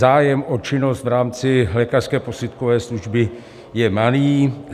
Zájem o činnost v rámci lékařské posudkové služby je malý.